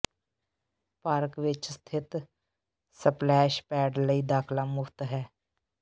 park ਵਿਚ ਸਥਿਤ splash pad ਲਈ ਦਾਖ਼ਲਾ ਮੁਫ਼ਤ ਹੈ